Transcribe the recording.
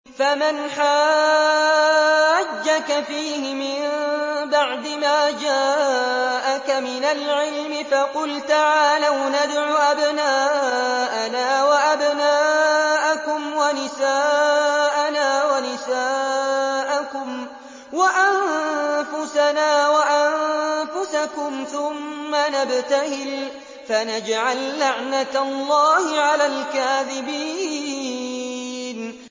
فَمَنْ حَاجَّكَ فِيهِ مِن بَعْدِ مَا جَاءَكَ مِنَ الْعِلْمِ فَقُلْ تَعَالَوْا نَدْعُ أَبْنَاءَنَا وَأَبْنَاءَكُمْ وَنِسَاءَنَا وَنِسَاءَكُمْ وَأَنفُسَنَا وَأَنفُسَكُمْ ثُمَّ نَبْتَهِلْ فَنَجْعَل لَّعْنَتَ اللَّهِ عَلَى الْكَاذِبِينَ